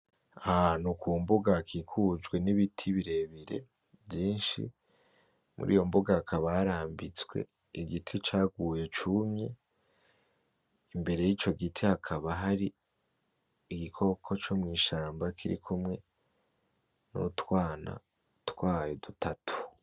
Ahantu kumbuga hakikujwe nibiti birebire vyinshi. Kuriyo mbuga hakaba harambitswe igiti caguye cumye. Imbere yico giti hakaba hari igikoko co mw'ishamba kirikumwe nutwana twayo dutatu.